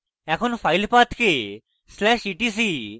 এখন file পাথকে